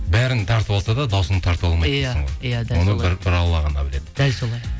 бәрін тартып алса да дауысымды тартып алмайды дейсің ғой иә оны бір алла ғана біледі дәл солай